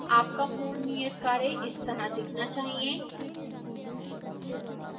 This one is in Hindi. आपका पूर्ण नियतकार्य इस तरह दिखना चाहिए